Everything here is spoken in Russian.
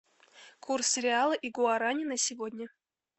курс реала и гуарани на сегодня